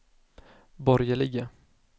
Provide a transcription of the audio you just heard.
borgerliga